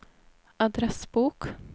adressbok